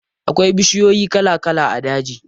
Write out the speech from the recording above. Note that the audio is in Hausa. Akwai bishiyoyi kala kala a daji.